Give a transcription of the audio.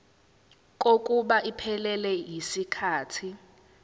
kokuba iphelele yisikhathi